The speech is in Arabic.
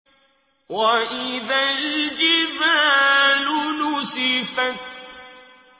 وَإِذَا الْجِبَالُ نُسِفَتْ